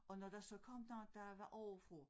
Og når der så kom nogen der var ovre fra